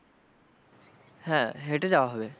হ্যাঁ হেঁটে যাওয়া হবে।